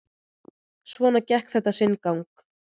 Svona gekk þetta sinn gang.